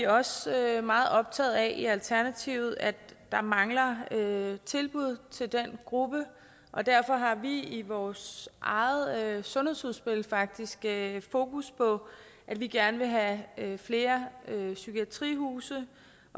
også meget optaget af i alternativet at der mangler tilbud til den gruppe og derfor har vi i vores eget sundhedsudspil faktisk fokus på at vi gerne vil have flere psykiatrihuse